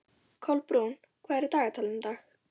Kolbrún, hvað er í dagatalinu í dag?